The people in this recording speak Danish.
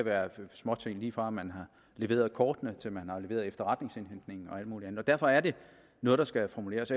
være småting lige fra at man har leveret kortene til at man har leveret efterretningsoplysningerne og alt muligt andet derfor er det noget der skal formuleres